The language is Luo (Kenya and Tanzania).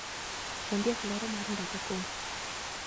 Ondiek lero mar ndalo koro.